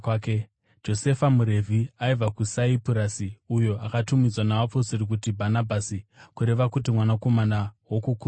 Josefa, muRevhi aibva kuSaipurasi, uyo akatumidzwa navapostori kunzi Bhanabhasi (kureva kuti Mwanakomana woKukurudzira),